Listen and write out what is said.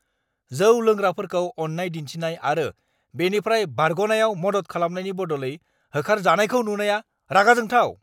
जौ लोंग्राफोरखौ अन्नाय दिन्थिनाय आरो बेनिफ्राय बारग'नायाव मदद खालामनायनि बदलै होखारजानायखौ नुनाया रागा जोंथाव।